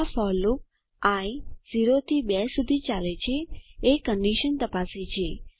આ for loop I 0 થી 2 સુધી ચાલે છે એ કન્ડીશન તપાસ કરે છે